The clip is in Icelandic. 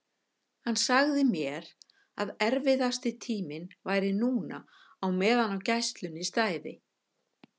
Hann sagði mér að erfiðasti tíminn væri núna á meðan á gæslunni stæði.